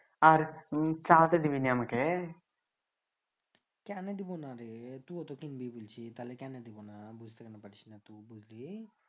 আর চালাতে দিবি না মকে কেনে দেবোনা রে তুও তো কিনবি বলছি তালে কেনে দেবোনা বুঝতে কেনে পারিসনা টু বুঝলি